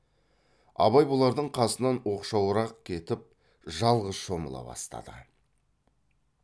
абай бұлардың қасынан оқшауырақ кетіп жалғыз шомыла бастады